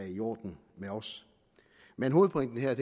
i orden med os men hovedpointen her